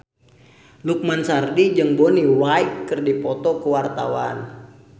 Lukman Sardi jeung Bonnie Wright keur dipoto ku wartawan